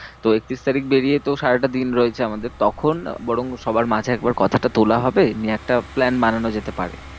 তো একত্রিশ তারিখ বেরিয়ে তো সারাটাদিন রয়েছে আমাদের, তখন বরং সবার মাঝে একবার কথাটা তোলা হবে। নিয়ে একটা plan বানানো যেতে পারে।